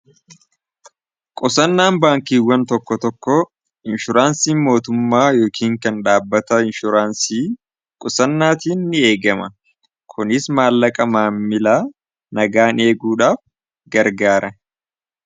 qusannaan baankiiwwan tokko tokko inshuraansiin mootummaa yookiin kan dhaabbata inshuraansii qusannaatiin ni eegama kunis maallaqa maamila nagaan eeguudhaaf gargaare